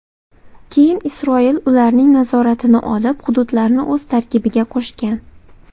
Keyin Isroil ularning nazoratini olib, hududlarni o‘z tarkibiga qo‘shgan.